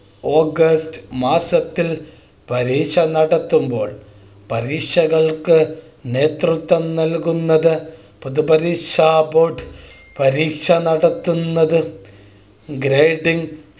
August മാസത്തിൽ പരീക്ഷ നടത്തുമ്പോൾ പരീക്ഷകൾക്ക് നേതൃത്വം നൽകുന്നത് പൊതു പരീക്ഷാ Board പരീക്ഷ നടത്തുന്നത് Grading